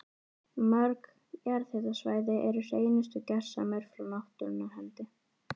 Mörg jarðhitasvæði eru hreinustu gersemar frá náttúrunnar hendi.